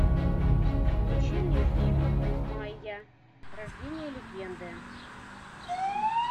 включи мне фильм майя рождение легенды